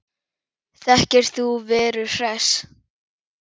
Þekkir þú Veru Hress?